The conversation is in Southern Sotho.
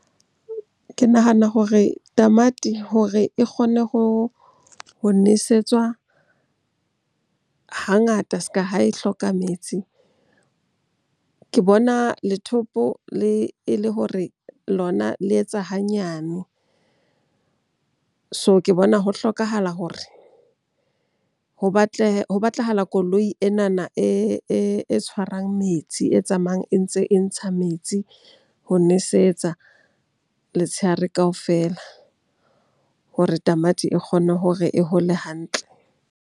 Ke nahana hore tamati hore e kgone ho nesetswa hangata se ka ha e hloka metsi. Ke bona e le hore lona le etsa hanyane. So, ke bona ho hlokahala hore ho batlahala koloi enana e tshwarang metsi. E tsamayang e ntse e ntsha metsi ho nosetsa letshehare kaofela hore tamati e kgone hore e hole hantle.